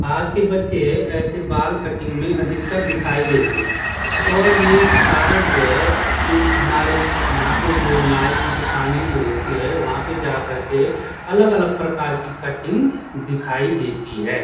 आज के बच्चे ऐसे बाल कटिंग में अधिकतर ऐसे दिखाई देते हैं और ये सारे जो हैं ये हमारे यहां पे जो है नाई की दुकाने जो होती है वहां पर जा कर के अलग अलग प्रकार की कटिंग दिखाई देती है।